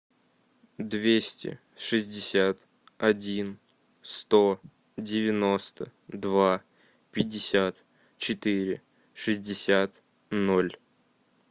двести шестьдесят один сто девяносто два пятьдесят четыре шестьдесят ноль